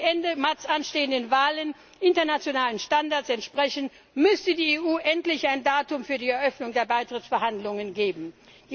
Wenn die Ende März anstehenden Wahlen internationalen Standards entsprechen, müsste die EU endlich ein Datum für die Eröffnung der Beitrittsverhandlung nennen.